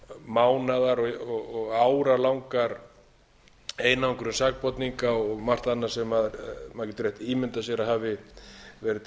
mánaðar og áralangar einangrun sakborninga og margt annað sem maður getur átt ímyndað sér að hafi verið til